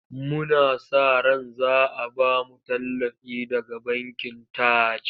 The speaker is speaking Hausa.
Muna sa ran za a ba mu tallafi daga bankin Taj.